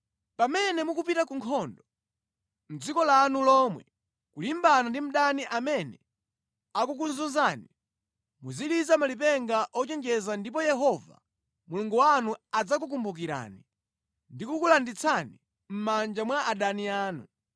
Pamene mukupita ku nkhondo mʼdziko lanu lomwe, kulimbana ndi mdani amene akukuzunzani, muziliza malipenga ochenjeza ndipo Yehova Mulungu wanu adzakukumbukirani ndi kukulanditsani mʼmanja mwa adani anu.